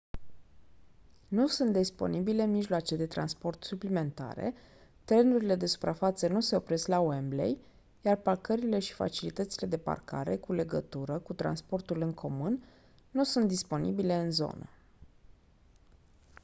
nu sunt disponibile mijloace de transport suplimentare trenurile de suprafață nu se opresc la wembley iar parcările și facilitățile de parcare cu legătură cu transportul în comun nu sunt disponibile în zonă